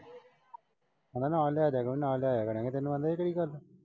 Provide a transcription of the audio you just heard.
ਕਹਿੰਦਾ ਨਾਲ ਲੈ ਜਿਆ ਕਰੋ ਨਾਲ ਲੈ ਇਆ ਕਰਾਂਗੇ। ਤੈਨੂੰ ਆਂਹਦਾ ਇਹ ਕਿਹੜੀ ਗੱਲ ਏ?